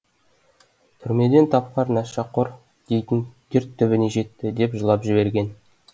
түрмеден тапқан нашақор дейтін дерт түбіне жетті деп жылап жіберген